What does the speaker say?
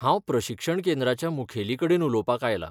हांव प्रशिक्षण केंद्राच्या मुखेलीकडेन उलोवपाक आयलां.